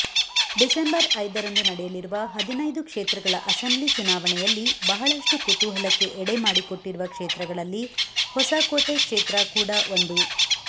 December ಐದರಂದು ನಡೆಯಲಿರುವ ಹದಿನೈದು ಕ್ಷೇತ್ರಗಳ ಅಸೆಂಬ್ಲಿ ಚುನಾವಣೆಯಲ್ಲಿ ಬಹಳಷ್ಟು ಕುತೂಹಲಕ್ಕೆ ಎಡೆಮಾಡಿಕೊಟ್ಟಿರುವ ಕ್ಷೇತ್ರಗಳಲ್ಲಿ ಹೊಸಕೋಟೆ ಕ್ಷೇತ್ರ ಕೂಡಾ ಒಂದು